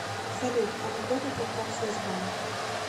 салют анекдоты про промсвязьбанк